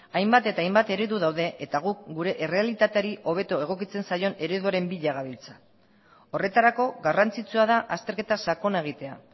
hainbat eta hainbat eredu daude eta guk gure errealitateari hobeto egokitzen zaion ereduaren bila gabiltza horretarako garrantzitsua da azterketa sakona egitea